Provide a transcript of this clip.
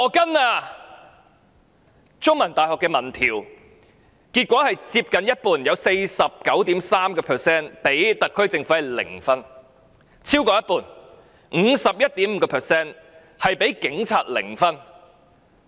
香港中文大學的民意調查結果，有接近一半的市民給特區政府零分；另外有超過一半的市民給警察零分。